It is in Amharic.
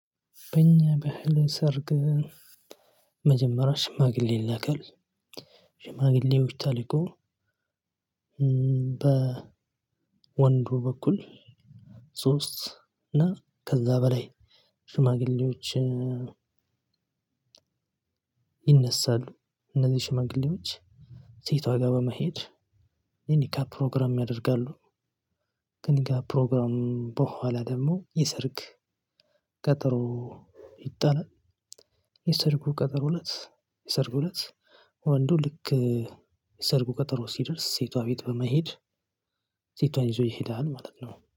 በኛ ባህል ሰርግ መጀመሪያ ሽማግሌ ይላካል። ሽማግሌዎች ተልኮ። በወንዱ በኩል ሶስት እና ከዛ በላይ ሽማግሌዎችን። ይነሳሉ እነዚህ ሽመግሌዎች ሴቷ ጋር በመሄድ የኒካ ፕሮግራም ያደርጋሉ። ከኒካ ፕሮግራሙ በኋላ ደግሞ የሰርግ ቀጠሮ ይጣላል። የሰርጉ ቀጠሮ እለት የሰርጉ እለት ወንዱ ልክ የሰርጉ ቀጠሮ ሲደርስ ሴቷ ቤት በመሄድ ሴቷን ይዞ ይሄዳል ማለት ነው